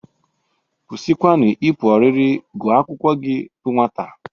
Kwụsịkwanụ ịpụ ọrịrị gụa akwụkwọ gị bụ nwata!